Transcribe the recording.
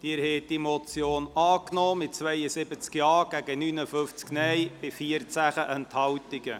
Sie haben diese Motion angenommen mit 72 Ja- zu 59 Nein-Stimmen bei 14 Enthaltungen.